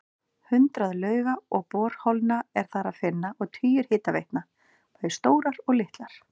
Hundruð lauga og borholna er þar að finna og tugir hitaveitna, bæði stórar og litlar.